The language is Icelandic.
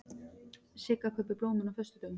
Sigga kaupir blómin á föstudögum.